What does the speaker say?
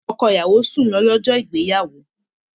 Ọkọ ìyàwó sùn lọ, lọ́jọ́ ìgbéyàwó